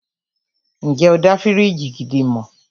Ǹjẹ́ o dá fíríjì gidi mọ̀?